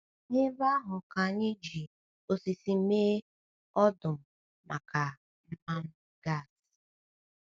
N’ebe ahụ ka anyị ji osisi mee ọdụ̀m maka mmanụ gas.